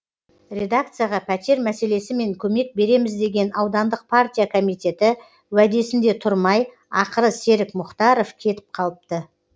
редакцияға пәтер мәселесімен көмек береміз деген аудандық партия комитеті уәдесінде тұрмай ақыры серік мұхтаров кетіп қалыпты